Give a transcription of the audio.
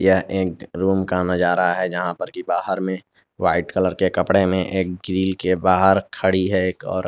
यह एक रूम का नजारा है जहां पर की बाहर में वाइट कलर के कपड़े में एक ग्रिल के बाहर खड़ी है एक औरत।